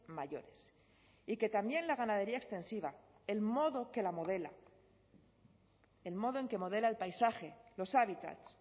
mayores y que también la ganadería extensiva el modo que la modela el modo en que modela el paisaje los hábitats